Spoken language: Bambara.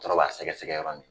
Tɔrɔ b'a sɛgɛsɛgɛ yɔrɔ min